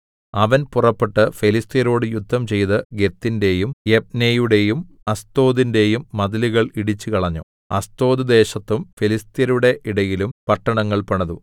അവൻ പുറപ്പെട്ട് ഫെലിസ്ത്യരോട് യുദ്ധം ചെയ്ത് ഗത്തിന്റെയും യബ്നെയുടെയും അസ്തോദിന്റെയും മതിലുകൾ ഇടിച്ചുകളഞ്ഞു അസ്തോദ് ദേശത്തും ഫെലിസ്ത്യരുടെ ഇടയിലും പട്ടണങ്ങൾ പണിതു